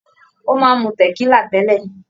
Ó máa ń mu tẹ̀kílà tẹ́lẹ̀.